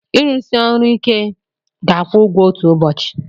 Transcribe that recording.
Ịrụsi ọrụ ike ga-akwụ ụgwọ otu ụbọchị.